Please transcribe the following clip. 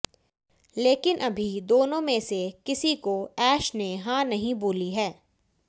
लेकिन अभी दोनों में से किसी को ऐश ने हां नही बोली है